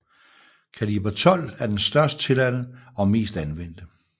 Kaliber 12 er den størst tilladte og mest anvendte